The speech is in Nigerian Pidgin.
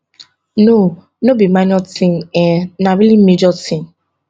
no no be minor tin um na really major tin